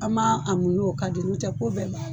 An ma a muɲu o kan de n'o tɛ ko bɛɛ la